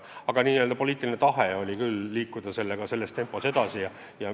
Aga poliitiline tahe oli seekord liikuda niisuguses tempos.